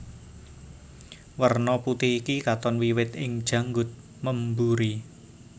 Werna putih iki katon wiwit ing janggut memburi